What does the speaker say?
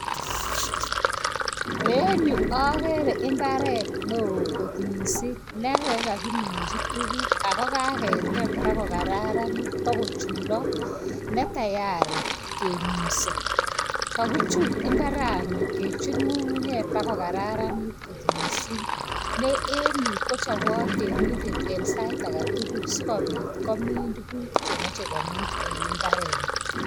Enyu agere imbaret neo kot mising, nekokakiminchi tukuk, ako kaketem bo kokararanit bo kochulok kiek tayari keminsa. Kakichul ng'ung'unyek bo kokararanit kot musing.en yu kochobot temindet eg sait age tugul sikobit komin tukuk chemachei en imbareni.